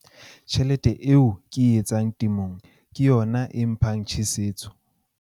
Tjhelete eo ke e etsang temong ke yona e mphang tjheseho.